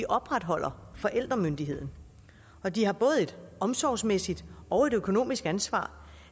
opretholder forældremyndigheden og de har både et omsorgsmæssigt og et økonomisk ansvar